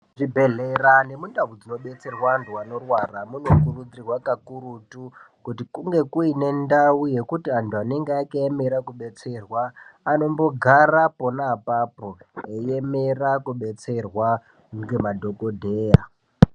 Zvibhedhlera nemundau dzinobetserwa antu anorwara munokurudzirwa kakurutu kuti kunge kuine ndau yekuti antu anenge akaemera kubetserwa anombogara pona apapo veiemera kubetserwa ngemadhokodheya.